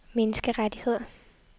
menneskerettigheder